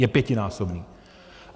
Je pětinásobný.